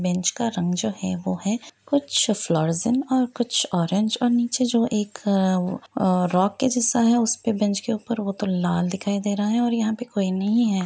Bench का रंग जो है वो है कुछ और कुछ ऑरेंज और कुछ नीचे जो एक अअ वो ओ रॉक के जैसा है उसपे बेंच के ऊपर वो तो लाल दिखाई दे रहा है और यहाँ पे कोई नहीं है।